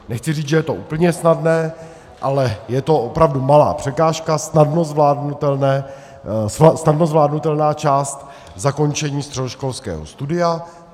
Nechci říct, že je to úplně snadné, ale je to opravdu malá překážka, snadno zvládnutelná část zakončení středoškolského studia.